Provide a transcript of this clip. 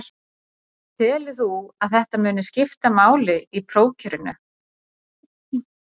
Telur þú að þetta muni skipta máli í prófkjörinu?